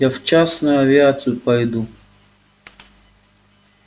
я в частную авиацию пойду